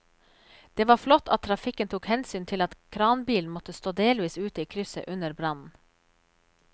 Det var flott at trafikken tok hensyn til at kranbilen måtte stå delvis ute i krysset under brannen.